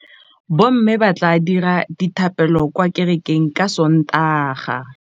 Bommê ba tla dira dithapêlô kwa kerekeng ka Sontaga.